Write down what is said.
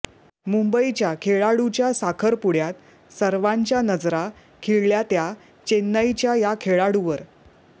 मुंबईच्या खेळाडूच्या साखरपुड्यात सर्वांच्या नजरा खिळल्या त्या चेन्नईच्या या खेळाडूवर